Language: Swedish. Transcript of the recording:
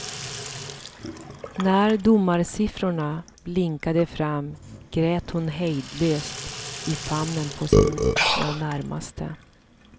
När domarsiffrorna blinkade fram grät hon hejdlöst i famnen på sina närmaste.